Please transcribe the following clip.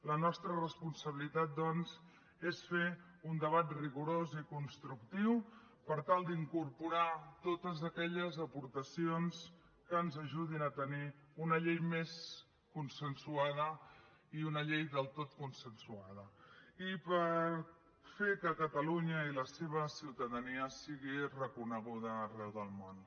la nostra responsabilitat doncs és fer un debat rigorós i constructiu per tal d’incorporar totes aquelles aportacions que ens ajudin a tenir una llei més consensuada i una llei del tot consensuada i per fer que catalunya i la seva ciutadania sigui reconeguda arreu del món